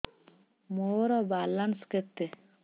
ମୋର ବାଲାନ୍ସ କେତେ